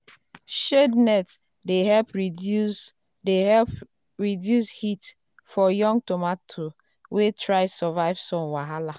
shade net dey help reduce dey help reduce heat for young tomato wey dey try survive sun wahala.